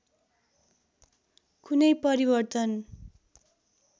कुनै परिवर्तन